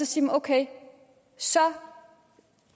sige at okay så